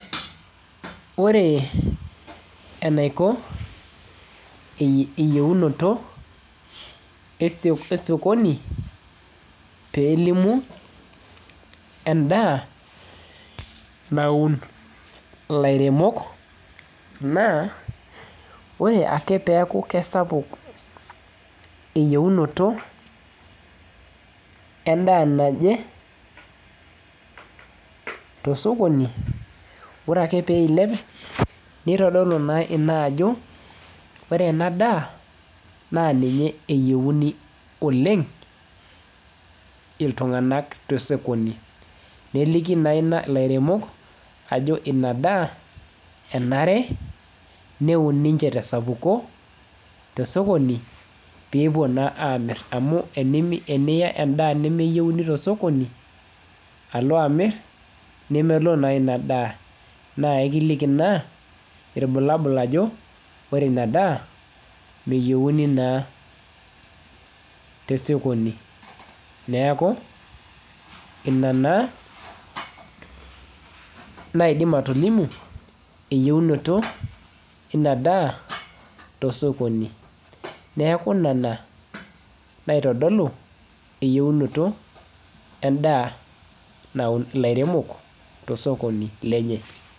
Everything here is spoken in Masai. Ore enaiko, eyieunoto esokoni pelimu endaa naun ilairemok naa, ore ake peeku kesapuk eyieunoto endaa naje, tosokoni, ore ake peilep, nitodolu naa ina ajo, ore enadaa naa ninye eyieuni oleng, iltung'anak tesokoni. Neliki naa ina ilairemok, ajo inadaa enare neun ninche tesapuko tesokoni, peepuo naa amir amu eniya endaa nemeyieuni tosokoni, alo amiri, nemelo naa inadaa. Naa ekiliki ina, ilbulabul ajo, ore inadaa meyieuni naa tesokoni. Neeku, ina naa naidim atolimu eyieunoto inadaa tosokoni. Neeku nena naitodolu eyieunoto endaa naun ilairemok tosokoni lenye.